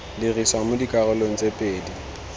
dirisiwa mo dikarolong tse pedi